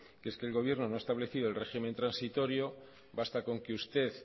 que es que el gobierno no ha establecido el régimen transitorio basta con que usted